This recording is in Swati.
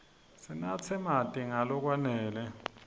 sinatse marti nga lokwanele